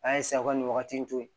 A ye sago nin wagati in to yen